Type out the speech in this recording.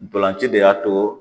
Ntolan ci de y'a to